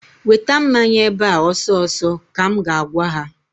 Weta mmanya ebe a ọsọ ọsọ! ka m ga-agwa ha.